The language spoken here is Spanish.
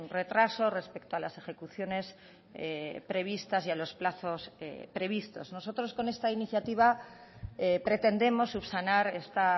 retraso respecto a las ejecuciones previstas y a los plazos previstos nosotros con esta iniciativa pretendemos subsanar esta